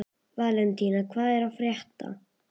Valentína, hvað er að frétta?